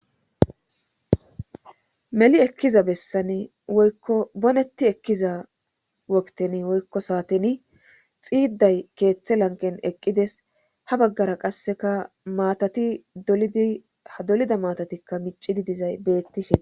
meli ekkiza bessani woykko bonetti ekkiza wokten woykko saateni xiiday keeththe lanqen eqqides ha baggara qasseka maatati ha dolida maatatikka miccidi dizay beettishe des